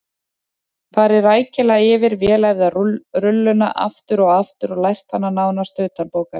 Farið rækilega yfir vel æfða rulluna aftur og aftur og lært hana nánast utanbókar.